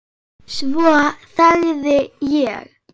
Svo þagði ég.